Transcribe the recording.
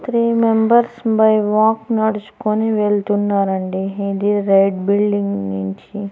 Three members by walk నడుచుకొని వెళ్తున్నారండి ఇది రైట్ బిల్డింగ్ నుంచి.